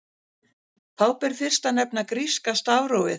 Þá ber fyrst að nefna gríska stafrófið.